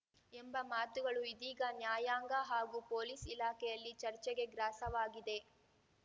ಎಂಬ ಮಾತುಗಳು ಇದೀಗ ನ್ಯಾಯಾಂಗ ಹಾಗೂ ಪೊಲೀಸ್‌ ಇಲಾಖೆಯಲ್ಲಿ ಚರ್ಚೆಗೆ ಗ್ರಾಸವಾಗಿದೆ